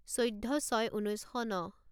চৈধ্য ছয় ঊনৈছ শ ন